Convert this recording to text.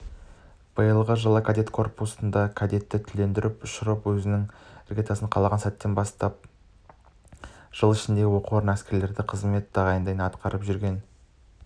биылғы жылы кадет корпусы кадетті түлетіп ұшырды өзінің іргетасы қаланған сәттен бастап жыл ішінде оқу орны әскерлерде қызметтерін ойдағыдай атқарып жүрген